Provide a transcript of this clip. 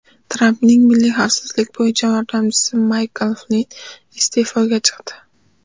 Trampning milliy xavfsizlik bo‘yicha yordamchisi Maykl Flinn iste’foga chiqdi.